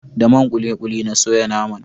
Da man kulikuli na soya naman